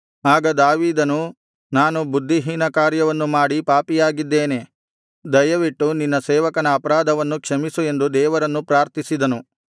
ಆಗ ದಾವೀದನು ನಾನು ಬುದ್ಧಿಹೀನ ಕಾರ್ಯವನ್ನು ಮಾಡಿ ಪಾಪಿಯಾಗಿದ್ದೇನೆ ದಯವಿಟ್ಟು ನಿನ್ನ ಸೇವಕನ ಅಪರಾಧವನ್ನು ಕ್ಷಮಿಸು ಎಂದು ದೇವರನ್ನು ಪ್ರಾರ್ಥಿಸಿದನು